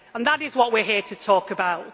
That is what we are here to talk about.